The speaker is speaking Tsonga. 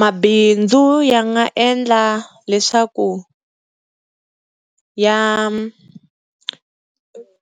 Mabindzu ya nga endla leswaku ya